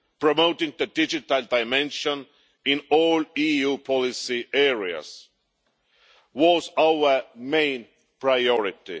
Promoting the digital dimension in all EU policy areas was our main priority.